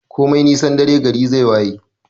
Komai nisan dare gari zai waye.